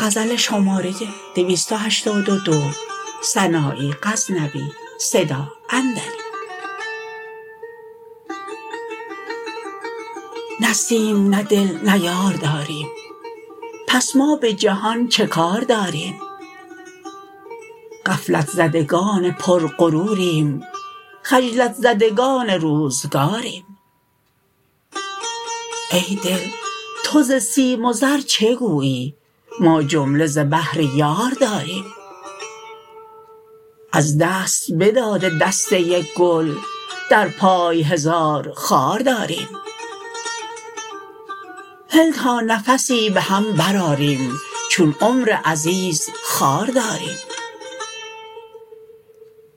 نه سیم نه دل نه یار داریم پس ما به جهان چه کار داریم غفلت زدگان پر غروریم خجلت زدگان روزگاریم ای دل تو ز سیم و زر چه گویی ما جمله ز بهر یار داریم از دست بداده دسته گل در پای هزار خار داریم هل تا نفسی به هم برآریم چون عمر عزیز خوار داریم